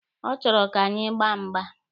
Ọ chọrọ ka anyị gbaa mgba.